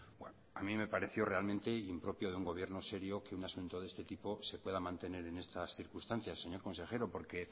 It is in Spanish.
a mí me pareció realmente impropio de un gobierno serio que un asunto de este tipo se pueda mantener en estas circunstancias señor consejero porque